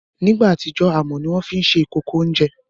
nígbà àtijọ́, amọ̀ ni wọ́n fi ń ṣe ìkòkò oúnjẹ